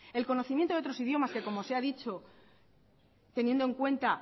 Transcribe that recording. el conocimiento de otros idiomas que como se ha dicho teniendo en cuenta